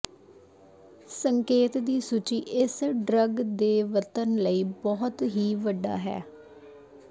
ਸੰਕੇਤ ਦੀ ਸੂਚੀ ਇਸ ਡਰੱਗ ਦੇ ਵਰਤਣ ਲਈ ਬਹੁਤ ਹੀ ਵੱਡਾ ਹੈ